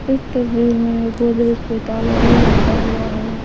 इस तस्वीर में गोदरेज पे ताला भी लटका हुआ है।